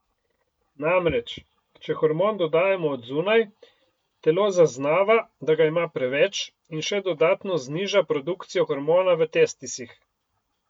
Namreč, če hormon dodajamo od zunaj, telo zaznava, da ga ima preveč, in še dodatno zniža produkcijo hormona v testisih.